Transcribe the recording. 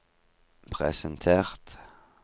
presentert